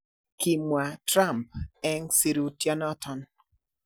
Kimwa Trump en sirutionoton.